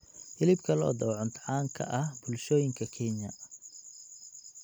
Hilibka lo'da waa cunto caan ka ah bulshooyinka Kenya.